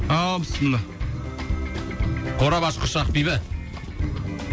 ааа біссіміллә қорап ашқыш ақбибі